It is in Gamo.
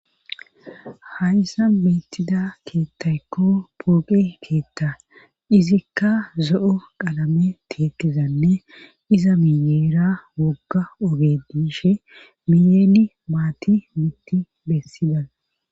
hayssa beettida keettaykko pooqe keetta izikka zo'o qalame teeyetizanne iza miyeera wogga ooge dishe miyeeni maati mitti bessida